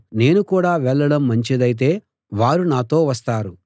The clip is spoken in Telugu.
నేను కూడా వెళ్ళడం మంచిదైతే వారు నాతో వస్తారు